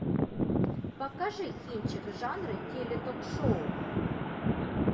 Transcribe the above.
покажи кинчик жанра теле ток шоу